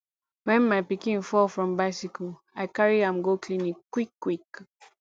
wen my pikin fall from bicycle i carry am go clinic quickquick